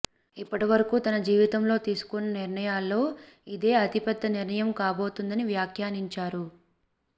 ఇప్పటి వరకు తన జీవితంలో తీసుకున్న నిర్ణయాల్లో ఇదే అతిపెద్ద నిర్ణయం కాబోతోందని వ్యాఖ్యానించారు